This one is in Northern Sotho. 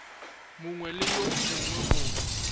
mongwe le yo mongwe go